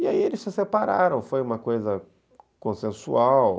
E aí eles se separaram, foi uma coisa consensual.